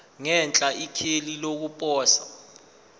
ngenhla ikheli lokuposa